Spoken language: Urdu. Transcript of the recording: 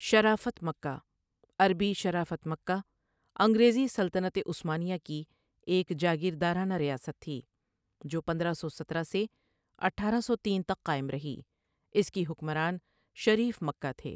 شرافت مکہ عربی شرافة مكة، انگریزی سلطنت عثمانیہ کی ایک جاگیردارنہ ریاست تھی جو پندرہ سو سترہ سے اٹھارہ سو تین تک قائم رہی اس کی حکمران شریف مکہ تھے ۔